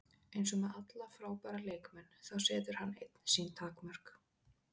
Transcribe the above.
Eins og með alla frábæra leikmenn, þá setur hann einn sín takmörk.